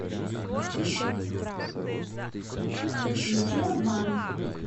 включи обман